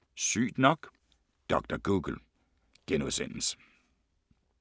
05:03: Sygt nok: Dr. Google *